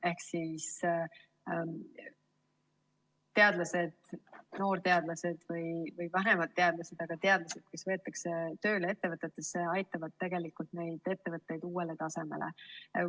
Ehk teadlased, noorteadlased või vanemad teadlased, kes võetakse tööle ettevõtetesse, aitavad tegelikult neid ettevõtteid uuele tasemele viia.